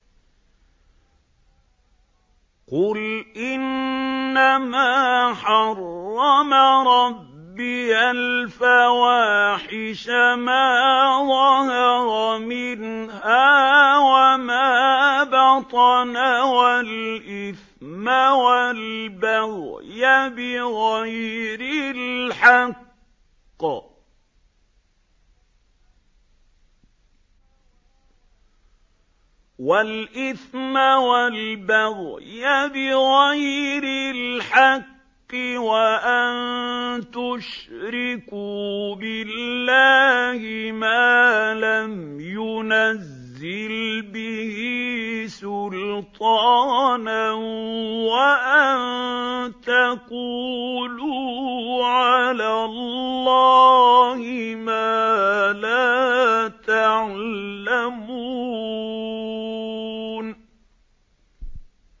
قُلْ إِنَّمَا حَرَّمَ رَبِّيَ الْفَوَاحِشَ مَا ظَهَرَ مِنْهَا وَمَا بَطَنَ وَالْإِثْمَ وَالْبَغْيَ بِغَيْرِ الْحَقِّ وَأَن تُشْرِكُوا بِاللَّهِ مَا لَمْ يُنَزِّلْ بِهِ سُلْطَانًا وَأَن تَقُولُوا عَلَى اللَّهِ مَا لَا تَعْلَمُونَ